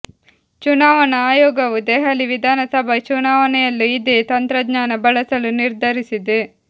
ಚುನಾವಣಾ ಆಯೋಗವು ದೆಹಲಿ ವಿಧಾನಸಭಾ ಚುನಾವಣೆಯಲ್ಲೂ ಇದೇ ತಂತ್ರಜ್ಞಾನ ಬಳಸಲು ನಿರ್ಧರಿಸಿದೆ